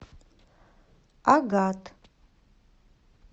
агат